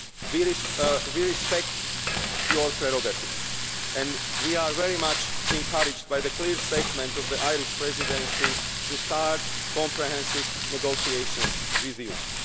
We respect your prerogative and we are greatly encouraged by the clear statement by the Irish Presidency to start comprehensive negotiations with